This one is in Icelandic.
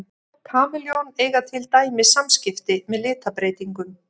Kameljón eiga til dæmis samskipti með litabreytingum.